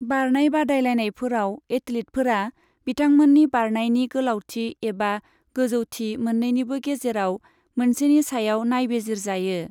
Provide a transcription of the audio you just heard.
बारनाय बादायलायनायफोराव एथलीटफोरा बिथांमोननि बारनायनि गोलावथि एबा गोजौथि मोननैनि गेजेराव मोनसेनि सायाव नायबिजिर जायो।